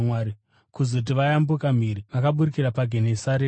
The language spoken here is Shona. Kuzoti vayambukira mhiri, vakaburukira paGenesareti.